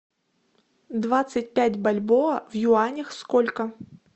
двадцать пять бальбоа в юанях сколько